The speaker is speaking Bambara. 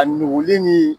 A nuguli ni